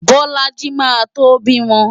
Bolaji máa tó bímọ.